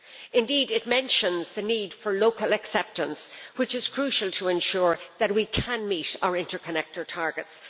Indeed, it mentions the need for local acceptance, which is crucial to ensure that we can meet our interconnector targets.